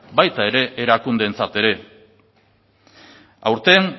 baita erakundeentzat ere aurten